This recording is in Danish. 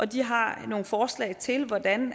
de har nogle forslag til hvordan